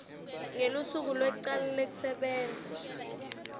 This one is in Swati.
ngelusuku lwekucala lwekusebenta